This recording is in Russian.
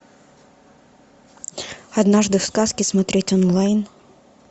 однажды в сказке смотреть онлайн